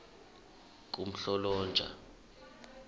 kumhlolonja